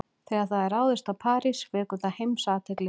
Þegar það er ráðist á París vekur það heimsathygli.